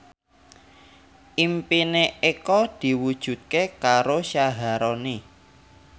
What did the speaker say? impine Eko diwujudke karo Syaharani